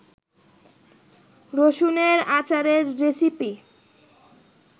রসুনের আচারের রেসিপি